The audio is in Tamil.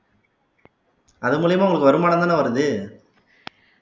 அது மூலியமா உங்களுக்கு வருமானம் தானே வருது